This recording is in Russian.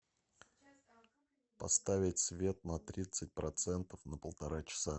поставить свет на тридцать процентов на полтора часа